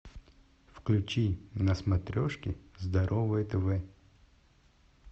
включи на смотрешке здоровое тв